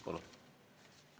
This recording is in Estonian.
Palun!